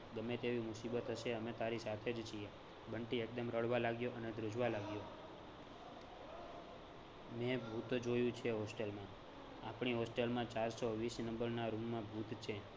ગમે તેવી મુસીબત હસે અમે તારી સાથે જ છીએ. બંટી એકદમ રડવા લાગ્યો અને ધ્રૂજવા લાગ્યો મેં ભૂત જોયુ છે hostel માં આપડી hostel માં ચાર સો વીસ number ના room માં ભૂત છે.